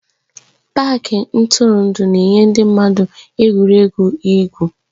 Pááki ntụrụndụ na-enye ndị mmadụ egwuregwu igwu egwu